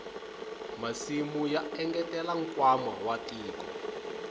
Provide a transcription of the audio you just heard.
masimu ya engetela nkwama wa tiko